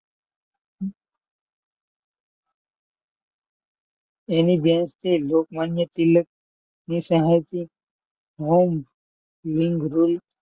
લોકમાન્ય તિલક ની સહાયતી